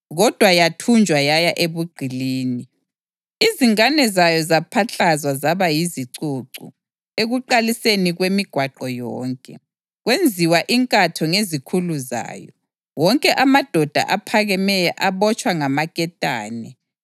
Kodwa yathunjwa yaya ebugqilini. Izingane zayo zapaklazwa zaba yizicucu ekuqaliseni kwemigwaqo yonke. Kwenziwa inkatho ngezikhulu zayo, wonke amadoda aphakemeyo abotshwa ngamaketane.